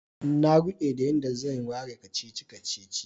Na rude da yan da zan warware kacici-kacici.